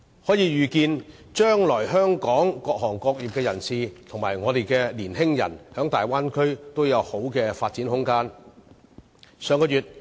可以預見，將來香港各行各業人士及香港的年青人在大灣區也會有良好的發展空間。